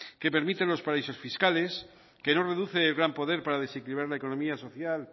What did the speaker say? que permite los paraísos fiscales que no reduce el gran poder para desequilibrar la economía social